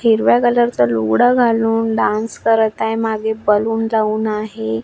हिरव्या कलर चा लुगडा घालून डान्स करत आहे मागे बलून लावून आहे.